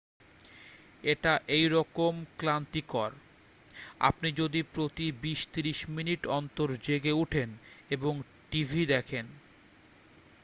এটা এই রকম ক্লান্তিকর আপনি যদি প্রতি বিশ-ত্রিশ মিনিট অন্তর জেগে উঠেন এবং টিভি দেখন